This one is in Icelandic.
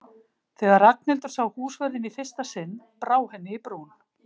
Þegar Ragnhildur sá húsvörðinn í fyrsta sinn brá henni í brún.